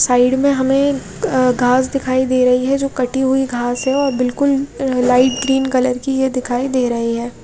Side में हमे अ घास दिखाई दे रहे है जो कटी हुयी घास है और बिलकुल लाइट ग्रीन कलर की दिखाई दे रही है।